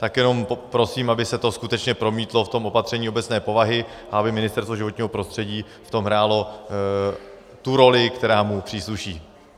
Tak jenom prosím, aby se to skutečně promítlo v tom opatření obecné povahy a aby Ministerstvo životního prostředí v tom hrálo tu roli, která mu přísluší.